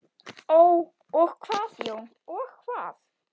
Og hvað Jón, og hvað?